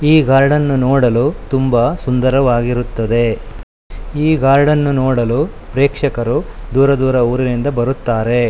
ಈ ಗಾರ್ಡನ್ ನೋಡಲು ತುಂಬಾ ಸುಂದರವಾಗಿರುತ್ತದೆ. ಈ ಗಾರ್ಡನ್ ನು ನೋಡಲು ಪ್ರೇಕ್ಷಕರು ದೂರ ದೂರ ಊರಿನಿಂದ ಬರುತ್ತಾರೆ.